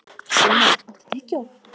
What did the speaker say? Sigmann, áttu tyggjó?